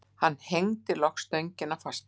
Hann hengdi loks stöngina fasta.